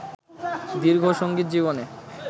দীর্ঘ সঙ্গীতজীবনে